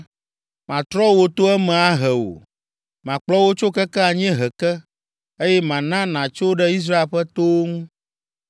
Matrɔ wò to eme ahe wò. Makplɔ wò tso keke anyiehe ke, eye mana nàtso ɖe Israel ƒe towo ŋu.